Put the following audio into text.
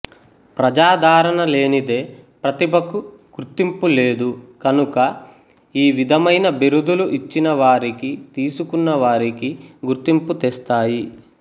ప్రజాదరణ లేనిదే ప్రతిభకు గుర్తింపులేదు గనుక ఈ విధమైన బిరుదులు ఇచ్చినవారికీ తీసుకున్నవారికీ గుర్తింపు తెస్తాయి